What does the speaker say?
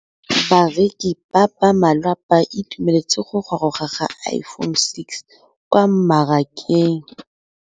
Bareki ba ba malwa ba ituemeletse go gôrôga ga Iphone6 kwa mmarakeng.